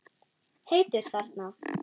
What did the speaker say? Heitur þarna.